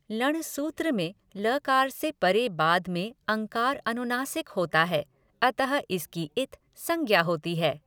लँण् सूत्र में लकार से परे बाद में अँकार अनुनासिक होता है अतः इसकी इत् संज्ञा होती है।